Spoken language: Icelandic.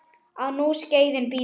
Á nú skeiðin bítur.